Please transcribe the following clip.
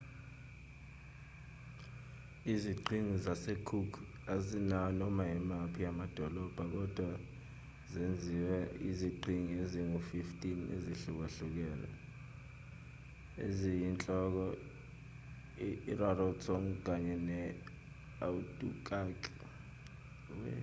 iziqhingi zasecook azinawo noma imaphi amadolobha kodwa zenziwe yiziqhingi ezingu-15 ezihlukahlukene eziyinhloko irarotong kanye ne-aitutaki